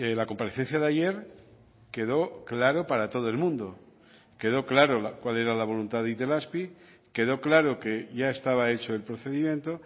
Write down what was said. la comparecencia de ayer quedó claro para todo el mundo quedó claro cuál era la voluntad de itelazpi quedó claro que ya estaba hecho el procedimiento